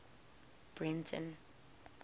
breyten